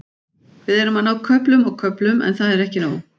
Við erum að ná köflum og köflum en það er bara ekki nóg.